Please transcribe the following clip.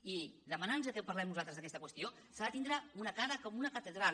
i per demanar nos que parlem nosaltres d’aquesta qüestió s’ha de tindre una cara com una catedral